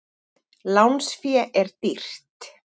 Lánsfé er dýrt.